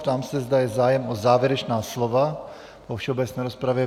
Ptám se, zda je zájem o závěrečná slova po všeobecné rozpravě.